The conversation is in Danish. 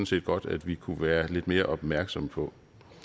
set godt at vi kunne være lidt mere opmærksomme på